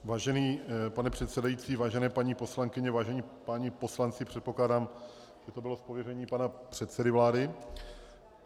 Vážený pane předsedající, vážené paní poslankyně, vážení páni poslanci, předpokládám, že to bylo z pověření pana předsedy vlády.